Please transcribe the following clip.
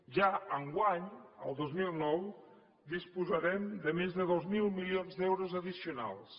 ja enguany el dos mil nou disposarem de més de dos mil milions d’euros addicionals